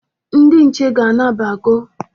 Ndị nche ga-anabago.